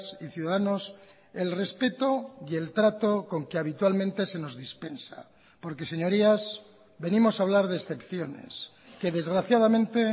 y ciudadanos el respeto y el trato con que habitualmente se nos dispensa porque señorías venimos a hablar de excepciones que desgraciadamente